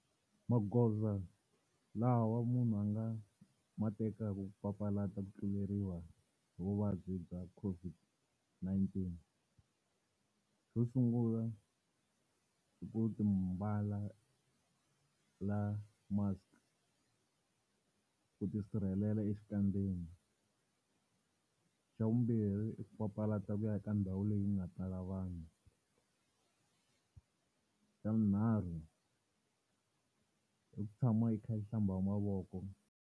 Magoza lawa munhu a nga ma tekaka ku papalata ku tluleriwa hi vuvabyi bya COVID-19. Xo sungula i ku mbala mask, ku ti sirhelela exikandzeni. Xa vumbirhi i ku papalata ku ya eka ndhawu leyi nga tala vanhu. Xa vunharhu, i ku tshama i kha i hlamba mavoko.